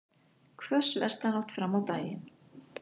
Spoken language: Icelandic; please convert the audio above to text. Hvöss vestanátt fram á daginn